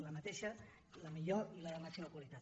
la mateixa la millor i la de màxima qualitat